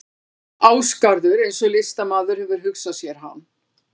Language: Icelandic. Ásgarður eins og listamaður hefur hugsað sér hann.